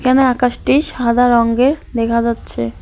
এখানে আকাশটি সাদা রঙের দেখা যাচ্ছে।